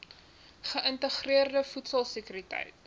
geïntegreerde voedsel sekuriteit